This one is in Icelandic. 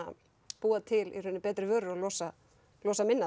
búa til betri vörur og losa losa minna